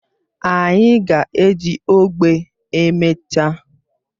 Anyị ga-eji ogbe emechaa